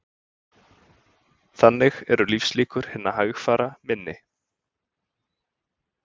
Þannig eru lífslíkur hinna hægfara minni